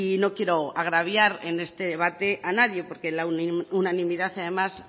no quiera agraviar en este debate a nadie porque la unanimidad